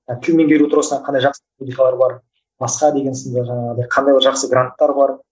тіл меңгеру тұрғысынан қандай жақсы бар басқа деген сынды жаңағыдай қандай бір жақсы гранттар бар